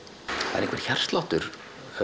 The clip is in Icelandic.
það er einhver hjartsláttur